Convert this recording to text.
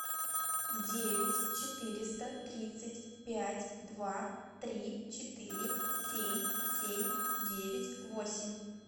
девять четыреста тридцать пять два три четыре семь семь девять восемь